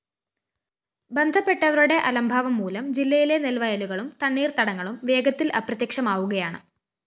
ബന്ധപ്പെട്ടവരുടെ അലംഭാവംമൂലം ജില്ലയിലെ നെല്‍വയലുകളും തണ്ണീര്‍ത്തടങ്ങളും വേഗത്തില്‍ അപ്രത്യക്ഷമാവുകയാണ്